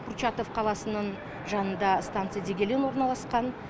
курчатов қаласының жанында станция дегелең орналасқан